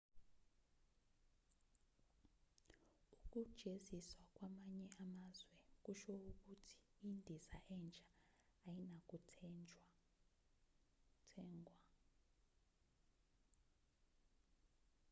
ukujeziswa kwamanye amazwe kusho ukuthi indiza entsha ayinakuthengwa